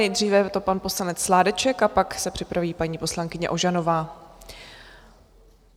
Nejdříve je to pan poslanec Sládeček a pak se připraví paní poslankyně Ožanová.